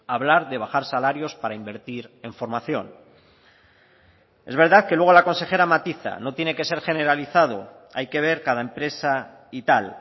hablar de bajar salarios para invertir en formación es verdad que luego la consejera matiza no tiene que ser generalizado hay que ver cada empresa y tal